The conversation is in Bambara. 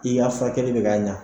I y'a fa kelen de ka ɲa